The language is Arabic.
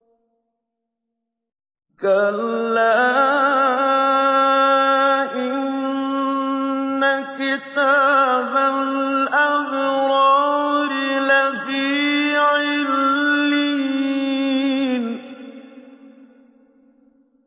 كَلَّا إِنَّ كِتَابَ الْأَبْرَارِ لَفِي عِلِّيِّينَ